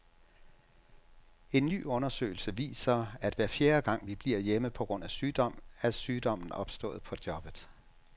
En ny undersøgelse viser, at hver fjerde gang, vi bliver hjemme på grund af sygdom, er sygdommen opstået på jobbet.